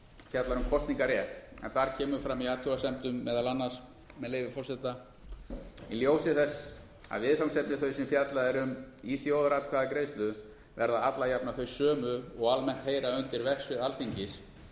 fjallar um kosningarrétt en þar kemur fram í athugasemdum meðal annars með leyfi forseta í ljósi þess að viðfangsefni þau sem fjallað er um í þjóðaratkvæðagreiðslu verða alla jafna þau sömu og almennt heyra undir verksvið alþingis